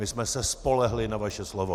My jsme se spolehli na vaše slovo.